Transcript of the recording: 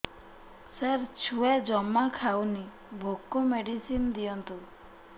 ସାର ଛୁଆ ଜମା ଖାଉନି ଭୋକ ମେଡିସିନ ଦିଅନ୍ତୁ